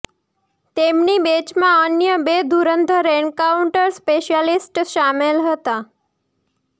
તેમની બેચમાં અન્ય બે ધુરંધર એન્કાઉન્ટર સ્પેશયાલિસ્ટ સામેલ હતા